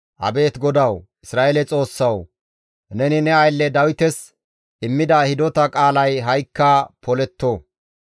Abeet GODAWU, Isra7eele Xoossawu! Neni ne aylle Dawites immida hidota qaalay ha7ikka poletto.